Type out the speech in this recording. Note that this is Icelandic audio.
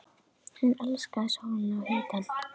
Hún elskaði sólina og hitann.